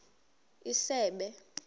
isebe